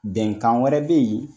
Bɛnkan wɛrɛ be yen